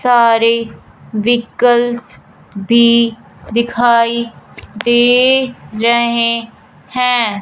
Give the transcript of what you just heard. सारे व्हीकल भी दिखाई दे रहे हैं।